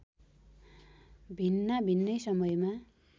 भिन्नाभिन्नै समयमा